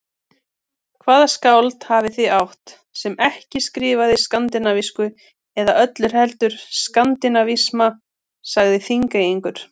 Hvaða skáld hafið þið átt, sem ekki skrifaði skandinavísku eða öllu heldur skandinavisma, sagði Þingeyingur.